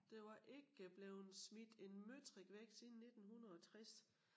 Der var ikke blevet smidt en møtrik væk siden 1960